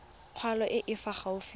kgolo e e fa gaufi